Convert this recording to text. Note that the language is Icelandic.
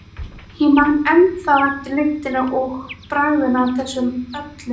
Ég man ennþá eftir lyktinni og bragðinu af þessu öllu.